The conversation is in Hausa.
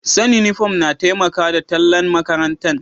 San' uniform na taimaka da tallan' makarantan.